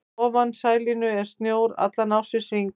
Fyrir ofan snælínu er snjór allan ársins hring.